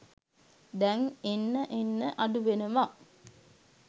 දැන් එන්න එන්න අඩුවෙනවා